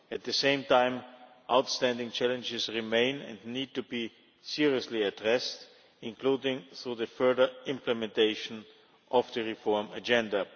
At the same time, outstanding challenges remain and need to be seriously addressed, including through the further implementation of the reform agenda.